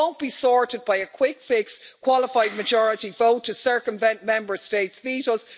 It won't be sorted by a quick fix, qualified majority vote to circumvent Member States' vetos.